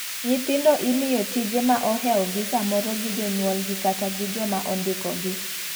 Nyithindo imiyo tije ma oheo gi samoro gi jonyuiol gi kata joma ondiko gi.